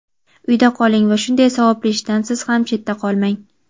Uyda qoling va shunday savobli ishdan siz ham chetda qolmang.